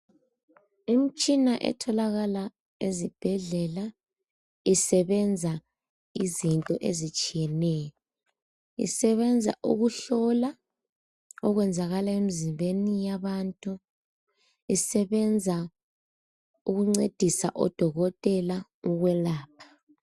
Imtshina etholakala ezibhedlela isebenza izinto ezitshiyeneyo isebenza ukuhlola okwenzakala emizimbeni yabantu ,isebenza ukuncedisa oDokotela ukwelapha.